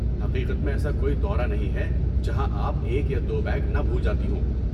حقیقت میں ایسا کوئی دورہ نہیں ہے جہاں آپ ایک یا دو بیگ نہ بھول جاتے ہوں؟